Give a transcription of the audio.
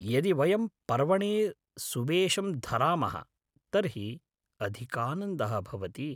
यदि वयम् पर्वणे सुवेशं धरामः तर्हि अधिकानन्दः भवति।